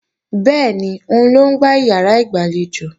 Bẹ́ẹ̀ni, òun ló ń gbá ìyàrá ìgbàlejò